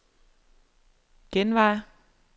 genvej